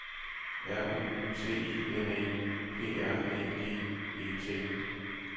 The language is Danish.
R U T I N E P R Æ G E T